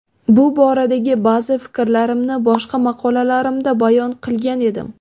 Bu boradagi ba’zi fikrlarimni boshqa maqolalarimda bayon qilgan edim .